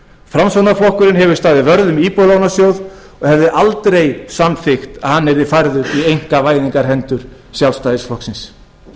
framsóknarflokkurinn hefur staðið vörð um íbúðalánasjóð og hefði aldrei samþykkt að hann yrði færður í einkavæðingarhendur sjálfstæðisflokksins